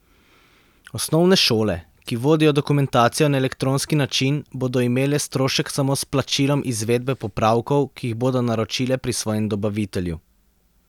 Osnovne šole, ki vodijo dokumentacijo na elektronski način, bodo imele strošek samo s plačilom izvedbe popravkov, ki jih bodo naročile pri svojem dobavitelju.